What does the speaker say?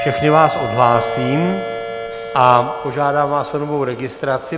Všechny vás odhlásím a požádám vás o novou registraci.